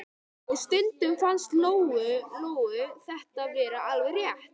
Og stundum fannst Lóu-Lóu þetta vera alveg rétt.